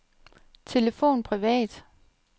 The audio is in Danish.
telefon privat